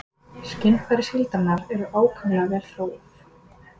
Skynfæri síldarinnar eru ákaflega vel þróuð.